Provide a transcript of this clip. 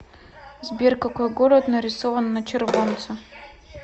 сбер какой город нарисован на червонце